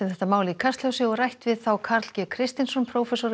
málið í Kastljósi og rætt við Karl g Kristinsson